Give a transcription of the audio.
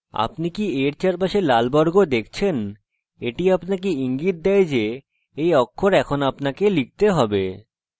আপনি কি a red চারপাশে লাল বর্গ দেখছেন এটি আপনাকে ইঙ্গিত দেয় যে এই অক্ষর এখন আপনাকে লিখতে have